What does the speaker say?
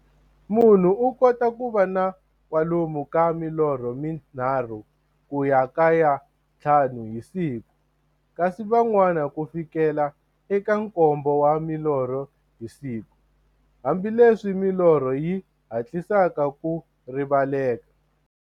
Munhu u kota ku va na kwalomu ka milorho mi nharhu ku ya ka ya nthlanu hi siku, kasi van'wana ku fikela eka nkombo wa milorho hi siku, hambileswi milorho yi hatlisaka ku rivaleka.